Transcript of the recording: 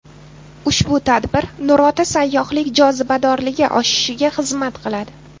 Ushbu tadbir Nurota sayyohlik jozibadorligi oshishiga xizmat qiladi.